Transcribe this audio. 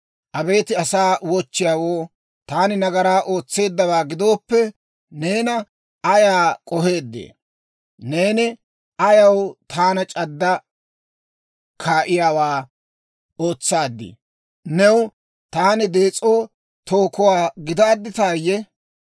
Abeet asaa wochchiyaawoo, taani nagaraa ootseeddawaa gidooppe, neena ayay k'oheeddee? Neeni ayaw taana c'addi kaa'iyaawaa ootsaaddii? New taani dees'o tookuwaa gidaadditayye?